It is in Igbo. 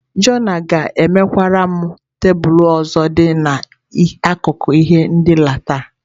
Jona ga-emekwara m tebụl ọzọ dị n’akụkụ ihe ndina taa.